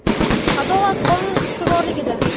Adolat – qonun ustuvorligida!